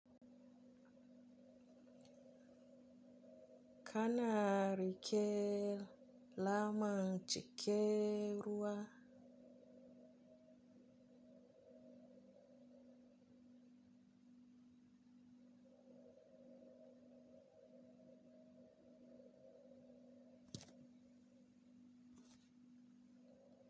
Kana rike lamanci keruwa.